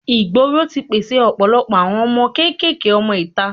ìgboro ti pèsè ọ̀pọ̀lọpọ̀ àwọn ọmọ kékeré ọmọ ìta.